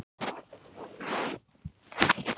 Greinilegt að það eru ekki öll kurl komin til grafar!